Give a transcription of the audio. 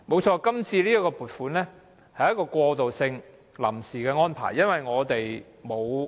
這次的撥款的確是過渡性的、屬臨時的安排。